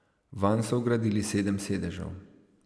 Vanj so vgradili sedem sedežev.